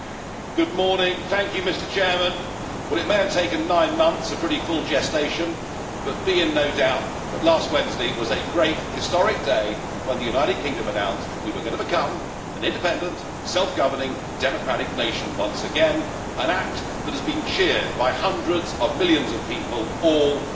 Mr President, it may have taken nine months a pretty full gestation but be in no doubt that last Wednesday was a great historic day when the United Kingdom announced that we were going to become an independent, self governing, democratic nation once again, an act that has been cheered by hundreds of millions of people all over the world.